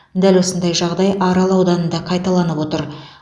дәл осындай жағдай арал ауданында қайталанып отыр